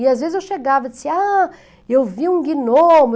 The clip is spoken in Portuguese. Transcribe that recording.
E às vezes eu chegava e disse, ah, eu vi um gnomo.